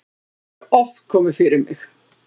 það hefur oft komið fyrir mig.